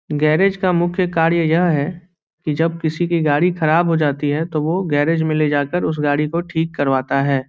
Garage का मुख्य कार्य यह है की जब किसी की गाड़ी ख़राब हो जाती है तब वो गैराज में ले जाकर उस गाड़ी को ठीक करवाता है ।